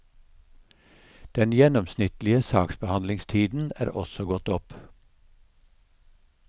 Den gjennomsnittlige saksbehandlingstiden er også gått opp.